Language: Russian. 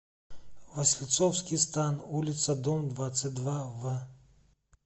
васильцовский стан улица дом двадцать два в